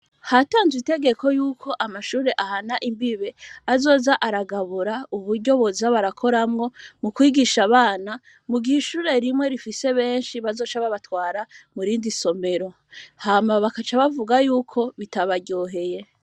Hatanzwe itegeko, y'uko, amashure, ahana imbibe; azoza aragabura, uburyo boza barakoramwo, mu kwigisha abana; mu gihe, ishure rimwe, rifise benshi, bazoca babatwara, mu rindi somero; hama, bakaca bavuze y'uko, bitabaryoheye.